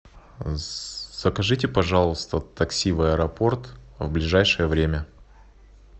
закажите пожалуйста такси в аэропорт в ближайшее время